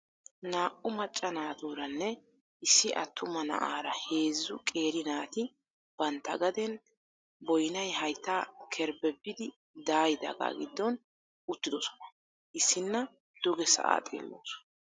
Naa"u macca naatuuranne issi attuma na'aara heezzu qeeri naati bantta gaden boynay hayttaa kerbbebbidi daayidaagaa giddon uttidosona. Issinna. duge sa'aa xeellawusu.